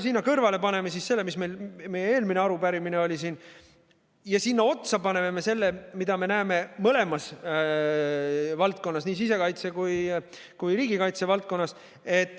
Sinna kõrvale paneme selle, mis oli meie eelmises arupärimises, ja sinna otsa paneme me selle, mida me näeme nii sisekaitse- kui riigikaitsevaldkonnas.